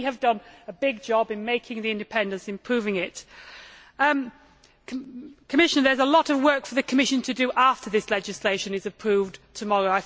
So we have done a big job in establishing this independence and improving it. The Commission there is a lot of work for the Commission to do after this legislation is approved tomorrow.